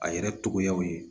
A yɛrɛ togoyaw ye